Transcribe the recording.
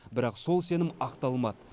бірақ сол сенім ақталмады